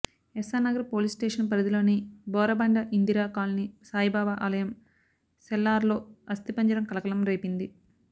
Essar Nagar police station పరిధిలోని Borabanda Indira colony Saibaba ఆలయం సెల్లార్లో అస్తిపంజరం కలకలం రేపింది